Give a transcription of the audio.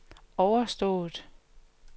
overstået